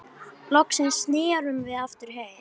Loksins snerum við aftur heim.